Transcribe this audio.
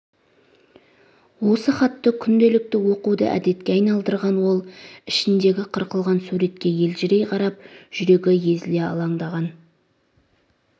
осы хатты күнделікті оқуды әдетке айналдырған ол ішіндегі қырқылған суретке елжірей қарап жүрегі езіле алаңдаған